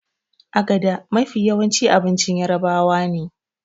agada Mafi yawa abincin yarabawane